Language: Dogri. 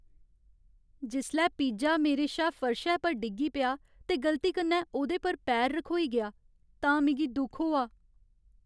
जिसलै पिज्जा मेरे शा फर्शै पर डिग्गी पेआ ते गलती कन्नै ओह्दे पर पैर रखोई गेआ तां मिगी दुख होआ।